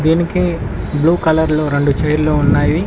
దినికి blue colour లో రెండు చైర్లు ఉన్నాయి.